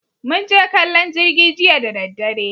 Mun je kallon jirgi jiya da daddare